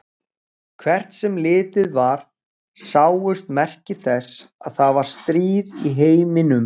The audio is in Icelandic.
Hvert sem litið var sáust merki þess að það var stríð í heiminum.